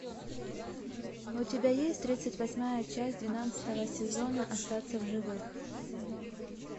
у тебя есть тридцать восьмая часть двенадцатого сезона остаться в живых